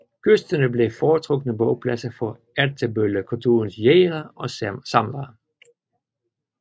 Kysterne blev foretrukne bopladser for Ertebøllekulturens jægere og samlere